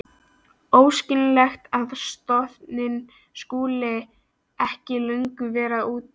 Óskiljanlegt að stofninn skuli ekki löngu vera útdauður.